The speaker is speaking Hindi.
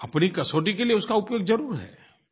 अपनी कसौटी के लिए उसका उपयोग ज़रुर है